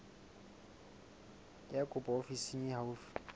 ya kopo ofising e haufi